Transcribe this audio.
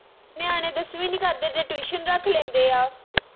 ਨਿਆਣੇ ਦਸਵੀਂ ਨੀ ਕਰਦੇ ਤੇ tuition ਰੱਖ ਲੈਂਦੇ ਆ